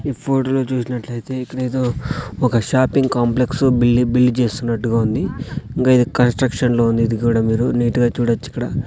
ఈ ఫోటో లో చూసినట్లైతే ఇక్కడ ఏదో ఓక షాపింగ్ కాంప్లెక్స్ బిల్డ్ చేస్తున్నట్టుగా ఉంది ఇంకా ఇది కన్స్ట్రక్షన్ లో ఉంది ఇది కూడా మీరు నీట్ గా చూడచ్చిక్కడ.